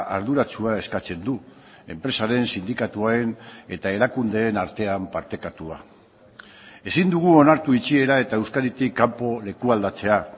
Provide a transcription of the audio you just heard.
arduratsua eskatzen du enpresaren sindikatuen eta erakundeen artean partekatua ezin dugu onartu itxiera eta euskaditik kanpo lekualdatzea